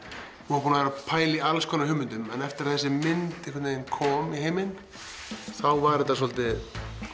vorum búnir að pæla í alls konar hugmyndum en eftir að þessi mynd kom í heiminn þá var þetta svolítið